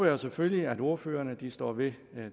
jo selvfølgelig at ordførerne står ved